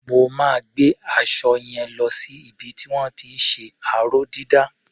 Mo máa gbé aṣọ yẹn lo sí ibi tí wọ́n ti ń ṣe aró-dídà.